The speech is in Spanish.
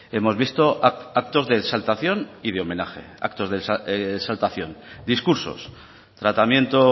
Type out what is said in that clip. hemos visto actos de exaltación y de homenaje actos exaltación discursos tratamiento